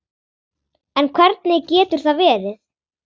En hvernig getur það verið?